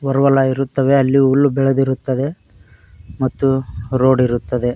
ಹೊರಹೊಲ ಇರುತ್ತವೆ ಅಲ್ಲಿ ಹುಲ್ಲು ಬೆಳೆದಿರುತ್ತದೆ ಮತ್ತು ರೋಡ್ ಇರುತ್ತದೆ.